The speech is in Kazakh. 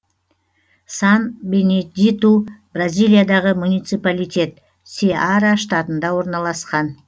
сан бенедиту бразилиядағы муниципалитет сеара штатында орналасқан